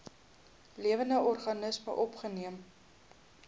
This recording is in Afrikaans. lewende organismes opgeneem